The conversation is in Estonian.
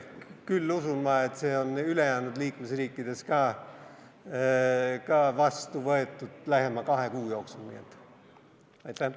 Küll usun ma, et see ka ülejäänud liikmesriikides lähema kahe kuu jooksul vastu võetakse.